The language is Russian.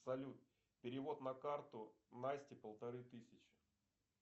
салют перевод на карту насти полторы тысячи